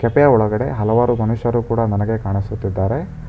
Cafe ಒಳಗಡೆ ಹಲವಾರು ಮನುಷ್ಯರು ಕೂಡ ನನಗೆ ಕಾಣಿಸುತ್ತಿದ್ದಾರೆ.